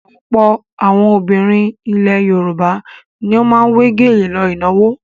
Ọ̀pọ̀ àwọn obìnrin ilẹ̀ Yorùbá ni ó máa ń wé gèlè lọ ìnáwó.